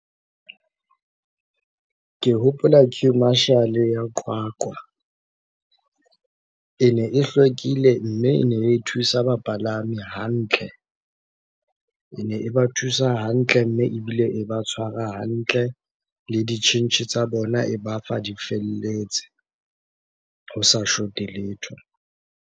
Ke hopola queue marshal ya Qwaqwa. Ene e hlwekile, mme ene e thusa bapalami hantle. Ene e ba thusa hantle, mme ebile e ba tshwara hantle. Le ditjhentjhe tsa bona e ba fa di felletse, ho sa short-e letho.